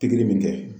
Pikiri min kɛ